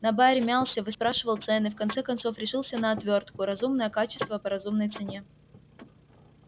на баре мялся выспрашивал цены в конце концов решился на отвёртку разумное качество по разумной цене